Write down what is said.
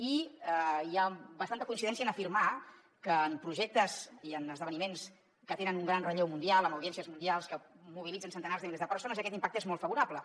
i hi ha bastanta coincidència en afirmar que en projectes i en esdeveniments que tenen un gran relleu mundial amb audiències mundials que mobilitzen centenars de milers de persones aquest impacte és molt favorable